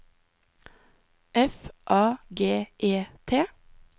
F A G E T